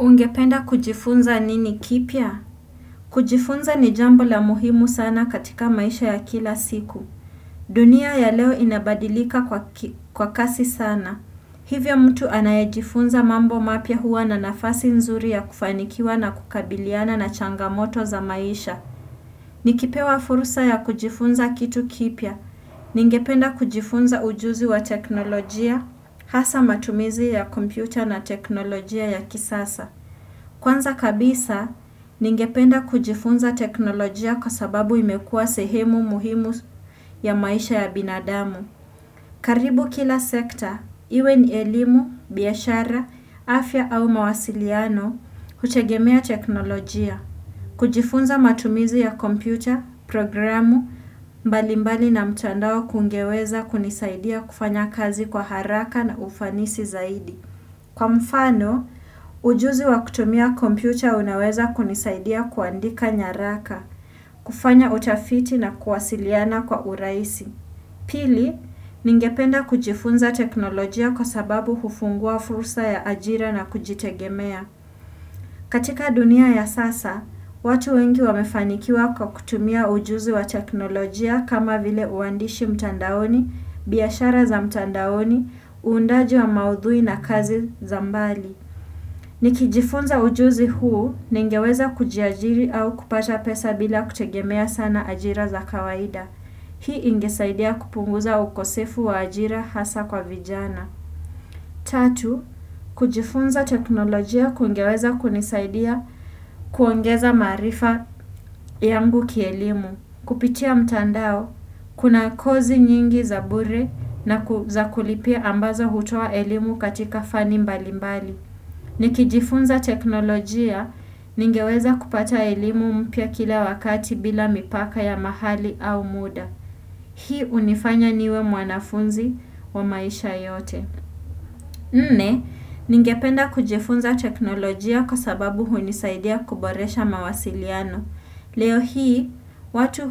Ungependa kujifunza nini kipya? Kujifunza ni jambo la muhimu sana katika maisha ya kila siku. Dunia ya leo inabadilika kwa kasi sana. Hivyo mtu anayejifunza mambo mapya huwa na nafasi nzuri ya kufanikiwa na kukabiliana na changamoto za maisha. Nikipewa fursa ya kujifunza kitu kipya. Ningependa kujifunza ujuzi wa teknolojia, hasa matumizi ya kompyuta na teknolojia ya kisasa. Kwanza kabisa, ningependa kujifunza teknolojia kwa sababu imekuwa sehemu muhimu ya maisha ya binadamu. Karibu kila sekta, iwe ni elimu, biashara, afya au mawasiliano, hutegemea teknolojia. Kujifunza matumizi ya kompyuta, programu, mbalimbali na mtandao kungeweza kunisaidia kufanya kazi kwa haraka na ufanisi zaidi. Kwa mfano, ujuzi wa kutumia kompyuta unaweza kunisaidia kuandika nyaraka, kufanya utafiti na kuwasiliana kwa urahisi. Pili, ningependa kujifunza teknolojia kwa sababu hufungua fursa ya ajira na kujitegemea. Katika dunia ya sasa, watu wengi wamefanikiwa kwa kutumia ujuzi wa teknolojia kama vile uandishi mtandaoni, biashara za mtandaoni, uundaji wa maudhui na kazi za mbali. Nikijifunza ujuzi huu ningeweza kujiajiri au kupata pesa bila kutegemea sana ajira za kawaida. Hii ingesaidia kupunguza ukosefu wa ajira hasa kwa vijana. Tatu, kujifunza teknolojia kungeweza kunisaidia kuongeza maarifa yangu kielimu. Kupitia mtandao, kuna kozi nyingi za bure na za kulipia ambazo hutoa elimu katika fani mbalimbali. Nikijifunza teknolojia ningeweza kupata elimu mpya kila wakati bila mipaka ya mahali au muda. Hii unifanya niwe mwanafunzi wa maisha yote. Nne, ningependa kujifunza teknolojia kwa sababu hunisaidia kuboresha mawasiliano. Leo hii, watu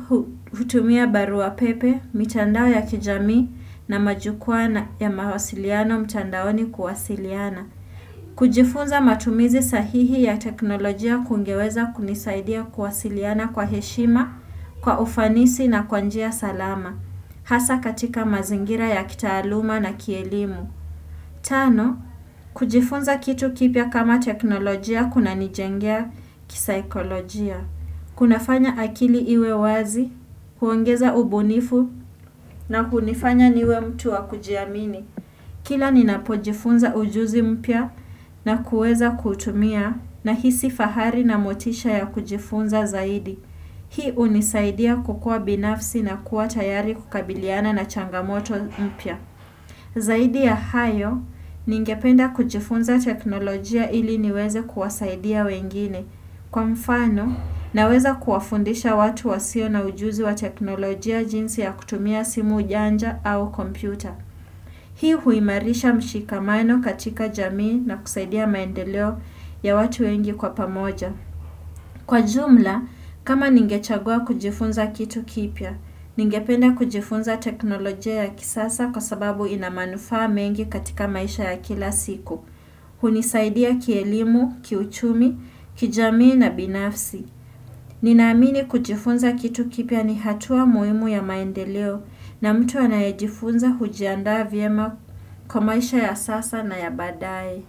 hutumia barua pepe, mitandao ya kijamii na majukwaa ya mawasiliano mtandaoni kuwasiliana. Kujifunza matumizi sahihi ya teknolojia kungeweza kunisaidia kuwasiliana kwa heshima, kwa ufanisi na kwa njia salama. Hasa katika mazingira ya kitaaluma na kielimu. Tano, kujifunza kitu kipya kama teknolojia kunanijengea kisaikolojia. Kunafanya akili iwe wazi, kuongeza ubunifu na kunifanya niwe mtu wa kujiamini. Kila ninapojifunza ujuzi mpya na kuweza kuutumia nahisi fahari na motisha ya kujifunza zaidi. Hii hunisaidia kukua binafsi na kuwa tayari kukabiliana na changamoto mpya. Zaidi ya hayo, ningependa kujifunza teknolojia ili niweze kuwasaidia wengine kwa mfano naweza kuwafundisha watu wasio na ujuzi wa teknolojia jinsi ya kutumia simu janja au kompyuta. Hii huimarisha mshikamano katika jamii na kusaidia maendeleo ya watu wengi kwa pamoja. Kwa jumla, kama ningechagua kujifunza kitu kipya, ningependa kujifunza teknolojia ya kisasa kwa sababu ina manufaa mengi katika maisha ya kila siku. Hunisaidia kielimu, kiuchumi, kijamii na binafsi. Ninaamini kujifunza kitu kipya ni hatua muhimu ya maendeleo na mtu anayejifunza hujiandaa vyema kwa maisha ya sasa na ya baadaye.